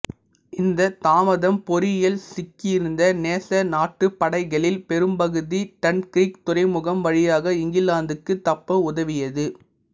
இந்தத் தாமதம் பொறியில் சிக்கியிருந்த நேச நாட்டுப் படைகளில் பெரும்பகுதி டன்கிர்க் துறைமுகம் வழியாக இங்கிலாந்துக்குத் தப்ப உதவியது